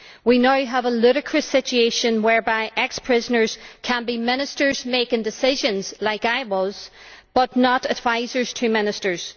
We now have a ludicrous situation whereby ex prisoners can be ministers making decisions like I was but not advisers to ministers.